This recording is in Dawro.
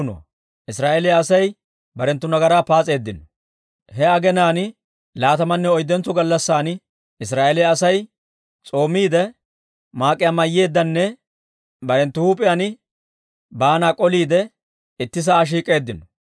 He aginaan laatamanne oyddentso gallassan Israa'eeliyaa Asay s'oomiidde, maak'aa mayiidenne barenttu huup'iyaan baanaa k'oliidde, itti sa'aa shiik'k'eeddino.